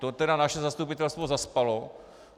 To teda naše zastupitelstvo zaspalo.